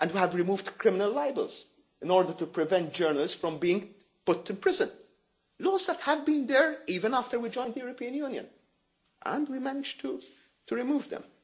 And we have removed criminal libels in order to prevent journalists from being put in prison laws that have been there even after we joined the European Union, and we managed to remove